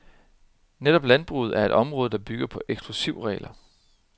Netop landbruget er et område, der bygger på eksklusivregler.